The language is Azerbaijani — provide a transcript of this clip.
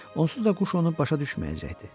Onsuz da quş onu başa düşməyəcəkdi.